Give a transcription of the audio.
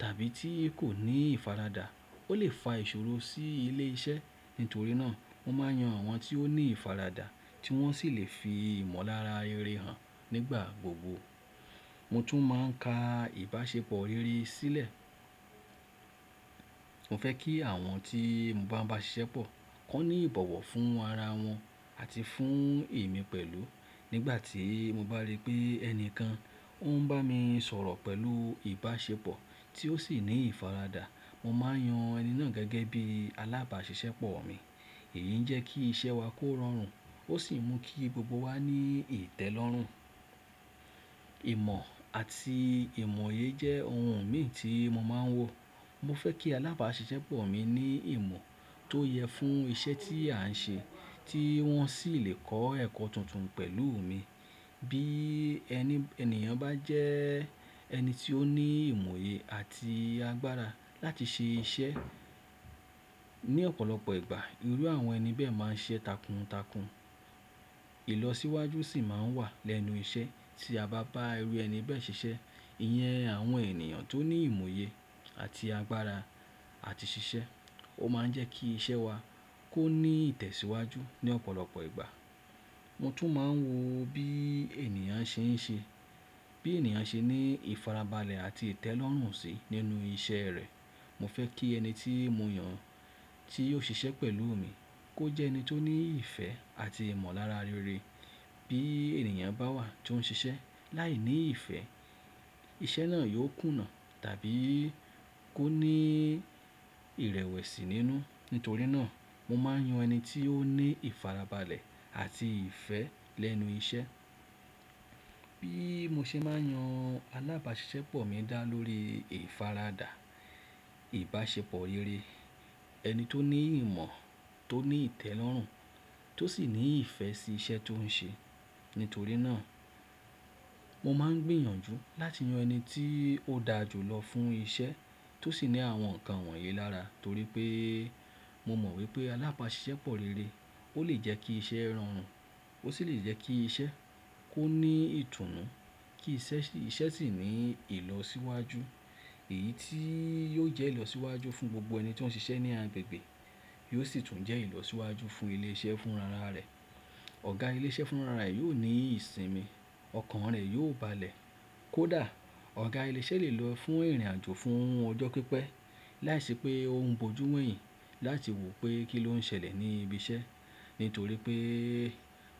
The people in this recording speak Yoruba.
tàbí tí kò ní ìfaradà ó lè fa ìṣòro sí ilé iṣẹ́. Nítorí náà mo máa yan àwọn tí ó ní ìfaradà tí wọ́n sì lè fi ìmọ̀lára rere hàn nígbà gbogbo. Mo tún máa ń ka ìbáṣepọ̀ rere sílẹ̀. Mo fẹ́ kí àwọn tí mo bá ń bá ṣiṣẹ́ pọ̀ kaní ìbọ̀wọ̀ fún ara wọn àti fún èmi pẹ̀lú. Nígbà tí mo bá rí pé ẹni kan ó ń bá mi sọ̀rọ̀ pẹ̀lú ìbáṣepọ̀ tí ó sì ní ìfaradà, mo máa yan ẹni náà gẹ́gẹ́ bí alábàáṣiṣẹ́ pọ̀ mi. Èyí jẹ́ kí iṣẹ́ wa kó rọrùn ó sì mú kí gbogbo wa ní ìtẹ́lọ́rùn. Ìmọ̀ àti ìmoye jẹ́ ohun mìíràn tí mo máa ń wò. Mo fẹ́ kí alábàáṣiṣẹ́ pọ̀ mi ní ìmọ̀ tó yẹ fún iṣẹ́ tí à ń ṣe tí wọ́n sì lè kọ́ ẹ̀kọ́ tuntun pẹ̀lú mi. Bí ènìyàn bá jẹ ẹni tí ó ní ìmọ̀ye àti agbára láti ṣe iṣẹ́, ní ọ̀pọ̀lọpọ̀ ìgbà irú àwọn ẹni bẹ́ẹ̀ máa ń sise takuntakun. Ilọsíwájú sì máa ń wà lẹ́nu iṣẹ́ tí a bá bá irú ẹni bẹ́ẹ̀ ṣiṣẹ́. Ìyẹn àwọn ènìyàn tó ní ìmọ̀ye àti agbára àti ṣiṣẹ́ ó máa ń jẹ́ kí iṣẹ́ wa kó ní ìtẹ̀síwájú ní ọ̀pọ̀lọpọ̀ ìgbà. Mo tún máa ń wò bí ènìyàn ṣe ń ṣe, bí ènìyàn ṣe ní ìfarabalẹ̀ àti ìtẹ́lọ́rùn sí nínú iṣẹ́ rẹ̀. Mo fẹ́ kí ẹni tí mo yàn tí yóò ṣiṣẹ́ pẹ̀lú mi kó jẹ́ ẹni tó ní ìfẹ́ àti ìmọ̀lára rere. Bí ènìyàn bá wà tó ń ṣiṣẹ́ láìní ìfẹ́, iṣẹ́ náà yóò kùnà tàbí kó ní ìrẹ̀wẹ̀sì nínú. Nítorí náà mo máa ń yan ẹni tí ó ní ìfarabalẹ̀ àti ìfẹ́ lẹ́nu iṣẹ́. Bí mo ṣe máa ń yan alábàáṣiṣẹ́ pọ̀ mi dá lórí ìfaradà, ìbáṣepọ̀ rere, ẹni tó ní ìmọ̀, tó ní ìtẹ́lọ́rùn, tó sì ní ìfẹ́ sí iṣẹ́ tó ń ṣe. Nítorí náà mo máa ń gbìyànjú láti yan ẹni tí ó da jù lọ fún iṣẹ́ tó sì ní àwọn ǹkan wọ̀nyí lára torí pé mo mọ̀ wípé alábàáṣiṣẹ́ pọ̀ rere ó lè jẹ́ kí iṣẹ́ rọrùn ó sì lè jẹ́ kí iṣẹ́ kó ní ìtùnú kí iṣẹ́ sì ní ìlọsíwájú. Èyí tí yóò jẹ́ ìlọsíwájú fún gbogbo ẹni tí ó ń ṣiṣẹ́ ní agbègbè yóò sì tún jẹ́ ìlọsíwájú fún ilé iṣẹ́ fúnra rẹ̀. Ọ̀gá ilé iṣẹ́ fúnra rẹ̀ yóò ní ìsinmi, ọkàn rẹ̀ yóò balẹ̀. Kódà ọ̀gá ilé iṣẹ́ lè lọ fún ìrìnàjò fún ọjọ́ pípẹ́ láìsí pé ó ń bojú wẹ̀hìn láti wò pé kí ló ń ṣẹlẹ̀ ní ibi iṣẹ́. Nítorí pé